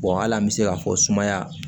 hali an bɛ se k'a fɔ sumaya